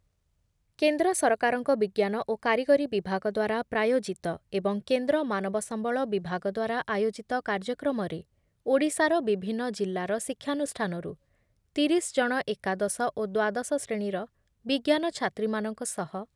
କେନ୍ଦ୍ର ସରକାରଙ୍କ ବିଜ୍ଞାନ ଓ କାରିଗରୀ ବିଭାଗ ଦ୍ଵାରା ପ୍ରାୟୋଜିତ ଏବଂ କେନ୍ଦ୍ର ମାନବ ସମ୍ବଳ ବିଭାଗ ଦ୍ଵାରା ଆୟୋଜିତ କାର୍ଯ୍ୟକ୍ରମରେ ଓଡ଼ିଶାର ବିଭିନ୍ନ ଜିଲ୍ଲାର ଶିକ୍ଷାନୁଷ୍ଠାନରୁ ତିରିଶଜଣ ଏକାଦଶ ଓ ଦ୍ଵାଦଶ ଶ୍ରେଣୀର ବିଜ୍ଞାନ ଛାତ୍ରୀମାନଙ୍କ ସହ